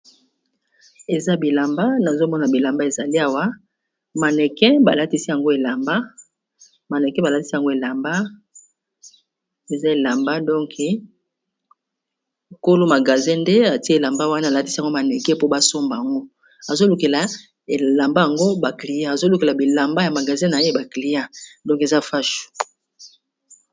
Eza bilamba nazomona bilamba ezali awa mannequin balatisi yango elamba eza elamba donk kolo magasin nde atie elamba wana alatisi yango mannequin mpo basomba ango azo lukela elamba yango ba client azolukela bilamba ya magasin na ye ba client donke eza fashu.